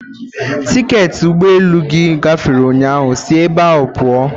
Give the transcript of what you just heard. Tiketị ụgbọ elu gị gafere ụnyahụ, sị ebe a pụọ!